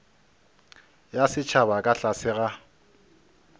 ya setšhaba ka tlase ga